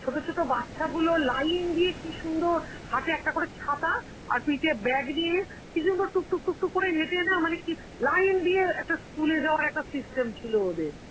ছোট বাচ্চাগুলো লাইন দিয়ে কি সুন্দর হাতে একটা করে ছাতা আর পিঠে bag নিয়ে কি সুন্দর টুক টুক টুক টুক করে হেটে না মানে কি~ line দিয়ে একটা school এ যাওয়ার একটা system ছিল ওদের.